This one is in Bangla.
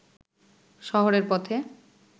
শহরের পথে